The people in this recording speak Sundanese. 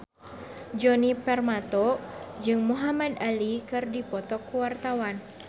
Djoni Permato jeung Muhamad Ali keur dipoto ku wartawan